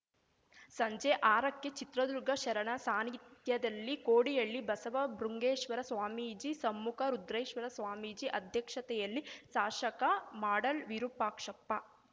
ಸಂಜೆ ಆರಕ್ಕೆ ಚಿತ್ರದುರ್ಗ ಶರಣ ಸಾನಿಧ್ಯದಲ್ಲಿ ಕೋಡಿಹಳ್ಳಿ ಬಸವ ಬೃಂಗೇಶ್ವರ ಸ್ವಾಮೀಜಿ ಸಮ್ಮುಖ ರುದ್ರೇಶ್ವರ ಸ್ವಾಮೀಜಿ ಅಧ್ಯಕ್ಷತೆಯಲ್ಲಿ ಶಾಸಕ ಮಾಡಾಳ್‌ ವಿರುಪಾಕ್ಷಪ್ಪ